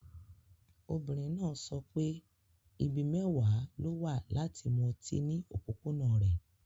Obìnrin náà sọ pé ibi mẹ́wàá ló wà láti mu ọtí ní òpópónà rẹ̀.